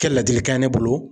Kɛ ladilikan ye ne bolo.